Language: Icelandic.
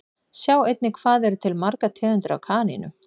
Sjá einnig Hvað eru til margar tegundir af kanínum?